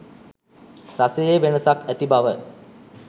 රසයේ වෙනසක් ඇති බව.